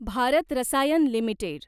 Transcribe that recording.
Bharat Rasayan limited